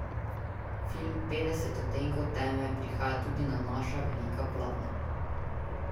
Film Petdeset odtenkov teme prihaja tudi na naša velika platna.